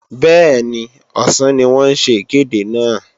Bẹ́ẹ̀ni, ọ̀sán ni wọ́n ń ṣe ìkéde náà